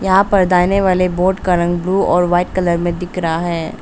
वाले बोर्ड का रंग ब्लू और वाइट कलर में दिख रहा है।